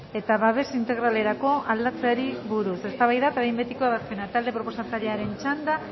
eta babes integralerakoa aldatzeari buruz eztabaida eta behin betiko ebazpena talde proposa sarearen txanda